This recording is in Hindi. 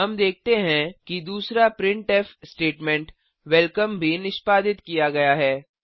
हम देखते हैं कि दूसरा प्रिंटफ स्टेटमेंट वेलकम भी निष्पादित किया गया है